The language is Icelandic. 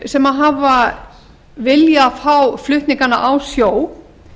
sem hafa viljað fá flutningana á sjó